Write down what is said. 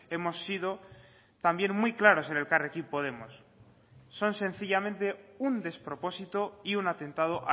hemos sido también muy claros en elkarrekin podemos son sencillamente un despropósito y un atentado